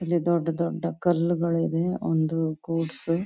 ಇಲ್ಲಿ ದೋಡ್ ದೊಡ್ಡ್ ಕಳಗಿಳಿವೆ ಒಂದು ಗೂಡ್ಸ್ .